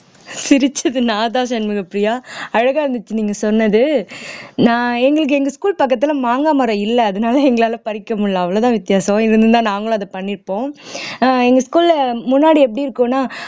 சிரிச்சது நான்தான் சண்முகப்பிரியா அழகா இருந்துச்சு நீங்க சொன்னது நான் எங்களுக்கு எங்க school பக்கத்துல மாங்கா மரம் இல்ல அதனால எங்களால பறிக்க முடியலை அவ்வளவுதான் வித்தியாசம் இருந்திருந்தா நாங்களும் அதை பண்ணியிருப்போம் ஆஹ் எங்க school ல முன்னாடி எப்படி இருக்கும்ன்னா